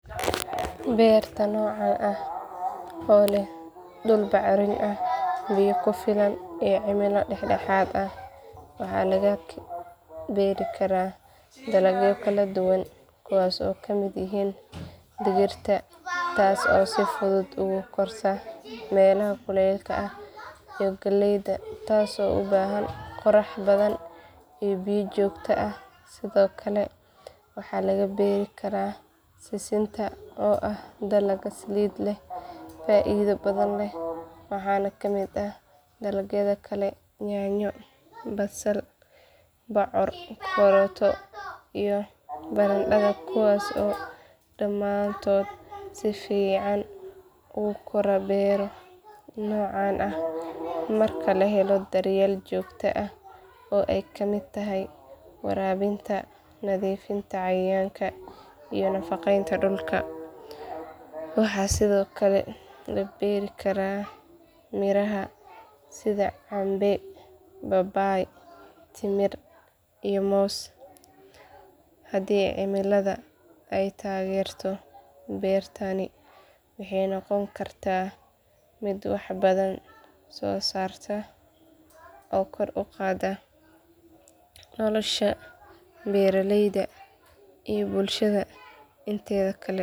Beerta noocan ah oo leh dul bocorin ah biyo kufilan iyo cimilo daxdaxaad ah waxaa lagubeeri Kara dalaagyo kaladuwan kuwaas oo kamid yahiin digirta taas oo sifudhud ugukorta melaha kuleelka ah iyo galeyda taas oo ubaahan qorax badhan iyo biyo joogto ah. Sidhoo kale waxaa lagabeeri karaa sisinta oo ah dalag Salida leh faaidho badhan leh waxaana kamid ah dalagyadha kale yanyo, basal, bocor, karoto iyo bocor kuwaas oo damaantod sifican ugukora beero nocaan ah marki lahelo daryeel joogto ah oo ey kamid tahy waraabinta nadhiifinta cayayaanka iyo nafaqeymta dulka. Waxaa sidhoo kale labeeri Kara miraha sidha canbe, babaay, timir iyo moos. Hadi cilimadha ey tageerto beertani waxey noqon karta mid wax badhan soosarta oo kor uqadaa nolosha beeraleyda iyo bulshada inteedha kale.